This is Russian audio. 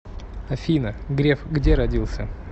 афина греф где родился